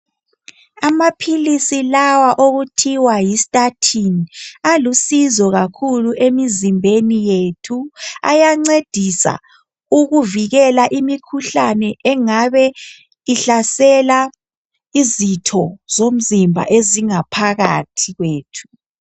amaphilizi lawa okuthiwa yistatin alusizo kakhulu emizimbeni yethu ayancedisa ukuvikela imikhuhlane engabe ihlasela izitho ezingaphakathi kwemzimbeni yethu